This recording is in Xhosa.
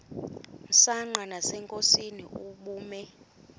msanqa nasenkosini ubume